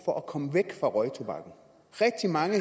for at komme væk fra røgtobakken rigtig mange